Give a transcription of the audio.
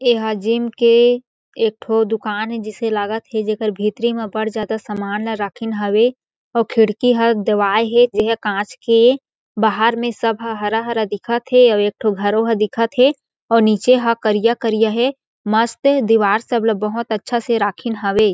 एहा जिम के एक ठो दुकान ए जइसे लागत हे जेकर भीतरी म बड़ ज्यादा सामान ल राखिन हावे आऊ खिड़की ह देवाय हे जे ह कांच के बाहर में सब ह हरा-हरा दिखत हे अउ एक ठो घरों ह दिखत हे अउ नीचे ह करिया-करिया हे मस्त दीवार सब ल बहोत अच्छा से राखिन हावे।